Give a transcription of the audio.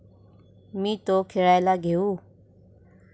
मी तो खेळायला घेऊ?